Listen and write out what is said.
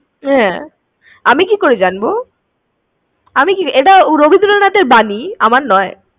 হ্যাঁ, উল্টে গেলো। আমি কি করে জানবো? এটা রবীন্দ্রনাথ এর বাণী। আমার নয়।